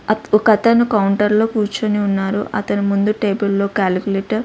అత్ ఒకతను కౌంటర్లో కూర్చుని ఉన్నారు అతనికి ముందు టేబుల్లో క్యాలికులేటర్ --